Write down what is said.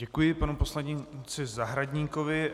Děkuji panu poslanci Zahradníkovi.